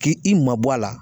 K'i i ma bɔ a la.